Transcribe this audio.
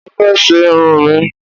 Mo fẹ́ ṣe irun mi